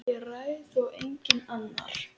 Ég ræð og enginn annar.